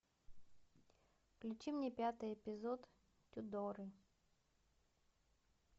включи мне пятый эпизод тюдоры